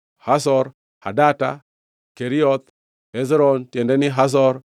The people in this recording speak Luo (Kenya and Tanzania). Hazor Hadata, Kerioth Hezron (tiende ni, Hazor),